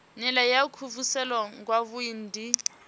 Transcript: nila ya kuvhusele kwavhui ndi